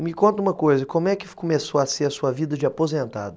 E me conta uma coisa, como é que começou a ser a sua vida de aposentado?